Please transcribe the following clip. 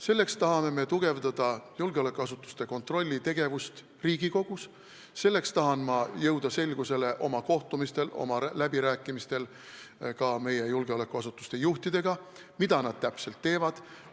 Selleks tahame me tugevdada julgeolekuasutuste kontrolli Riigikogus, selleks tahan ma oma kohtumistel ja läbirääkimistel ka meie julgeolekuasutuste juhtidega jõuda selgusele, mida nad täpselt teevad.